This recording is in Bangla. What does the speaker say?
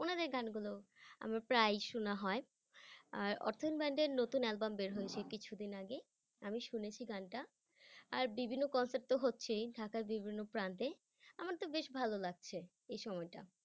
উনাদের গানগুলো আমার প্রায় শোনা হয় আর অর্থইন band এর নতুন album বের হয়েছে কিছুদিন আগে আমি শুনেছি গানটা আর বিভিন্ন concert তো হচ্ছে ঢাকার বিভিন্ন প্রান্তে আমার তো বেশ ভালো লাগছে এই সময়টা।